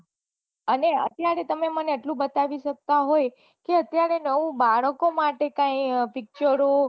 અને અત્યારે મને એટલું બતાવી શકતા હોય કે અત્યારે નવું બાળકો માટે કાંઈ પીચરો